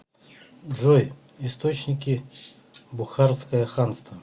джой источники бухарское ханство